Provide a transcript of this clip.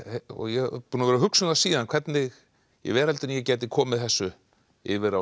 og ég er búinn að vera að hugsa um það síðan hvernig í veröldinni ég gæti komið þessu yfir á